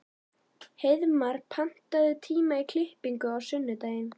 Hreiðmar, pantaðu tíma í klippingu á sunnudaginn.